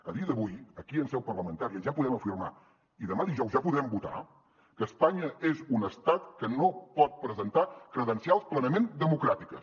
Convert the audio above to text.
a dia d’avui aquí en seu parlamentària ja podem afirmar i demà dijous ja podrem votar que espanya és un estat que no pot presentar credencials plenament democràtiques